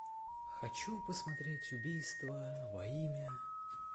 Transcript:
хочу посмотреть убийство во имя